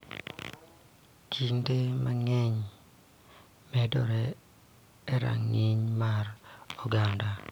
Kinde mang�eny medore e rang�iny mar oganda